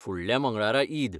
फुडल्या मंगळारा ईद.